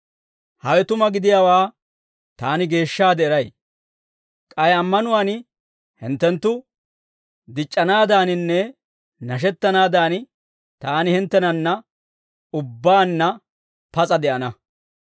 Hawe tuma gidiyaawaa taani geeshshaade eray; k'ay ammanuwaan hinttenttu dic'c'anaadaaninne nashettanaadan, taani hinttenanna ubbaanna pas'a de'ana.